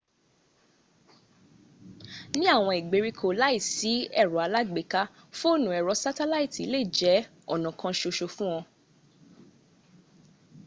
ní àwọn ìgbèríko láìsí ẹ̀rọ alágbèéká fóònù ẹ̀rọ sátálàìtì lè jẹ́ ọ̀nà kan ṣoṣo fún ọ